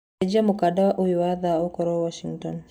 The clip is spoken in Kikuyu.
cenjĩa mukanda uyu wa thaa ũkorwo Washington